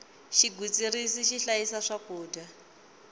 xigwitsirisi xi hlayisa swakudya